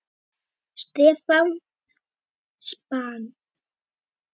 Stefán: Span?!